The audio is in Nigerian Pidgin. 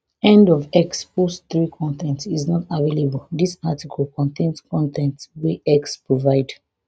end of x post three con ten t is not available dis article contain con ten t wey x provide